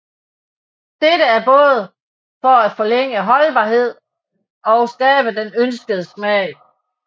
Dette er både for at forlænge holdbarheden og skabe den ønskede smag